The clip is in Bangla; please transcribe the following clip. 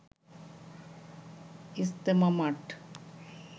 ইজতেমা মাঠ